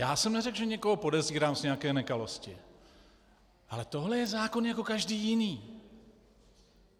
Já jsem neřekl, že někoho podezírám z nějaké nekalosti, ale tohle je zákon jako každý jiný.